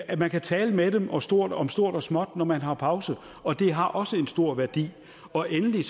at man kan tale med dem om stort om stort og småt når man har pause og det har også en stor værdi og endelig